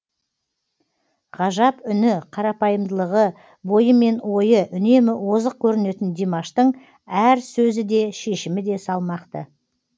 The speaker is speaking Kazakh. ғажап үні қарапайымдылығы бойы мен ойы үнемі озық көрінетін димаштың әр сөзі де шешімі де салмақты